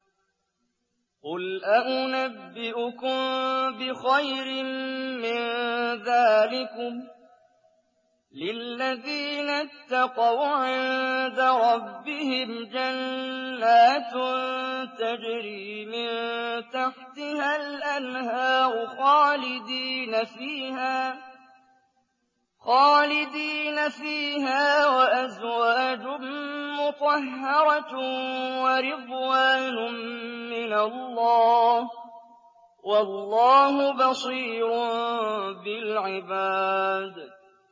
۞ قُلْ أَؤُنَبِّئُكُم بِخَيْرٍ مِّن ذَٰلِكُمْ ۚ لِلَّذِينَ اتَّقَوْا عِندَ رَبِّهِمْ جَنَّاتٌ تَجْرِي مِن تَحْتِهَا الْأَنْهَارُ خَالِدِينَ فِيهَا وَأَزْوَاجٌ مُّطَهَّرَةٌ وَرِضْوَانٌ مِّنَ اللَّهِ ۗ وَاللَّهُ بَصِيرٌ بِالْعِبَادِ